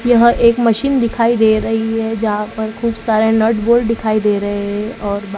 यह एक मशीन दिखाई दे रही है जहां पर खूब सारे नट बोल दिखाई दे रहे है और बा--